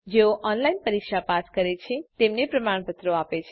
જેઓ ઓનલાઈન પરીક્ષા પાસ કરે છે તેમને પ્રમાણપત્રો આપે છે